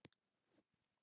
Botnar ekkert í honum.